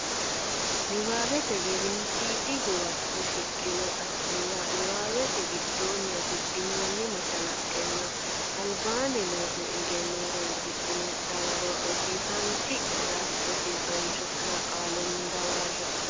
Nabbawate Gedensiidi Huwato shiqqino xa muwa niwaawete giddonni afidhinoonni mashalaqqenninna albaanni noo ne egenno horonsidhine dawaro rosiisaanchi nera cho nera qaalunni dawarre.